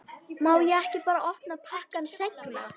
Má ég ekki bara opna pakkann seinna?